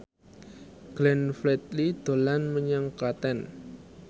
Glenn Fredly dolan menyang Klaten